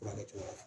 Furakɛ cogo la